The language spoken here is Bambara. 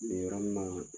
Nin yɔrɔ nin na